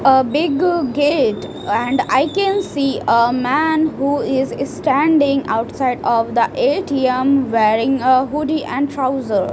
ah big gate and i can see ah man who is standing outside of the A_T_M wearing ah hoodie and trouser.